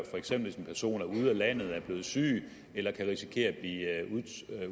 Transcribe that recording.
for eksempel hvis en person er ude af landet er blevet syg eller kan risikere at blive